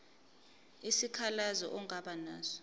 isikhalazo ongaba naso